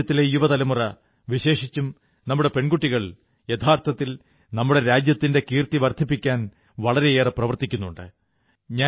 രാജ്യത്തിലെ യുവതലമുറ വിശേഷിച്ചും നമ്മുടെ പെൺകുട്ടികൾ യഥാർഥത്തിൽ നമ്മുടെ രാജ്യത്തിന്റെ കീർത്തി വർധിപ്പിക്കാൻ വളരെയേറെ പ്രവർത്തിക്കുന്നുണ്ട്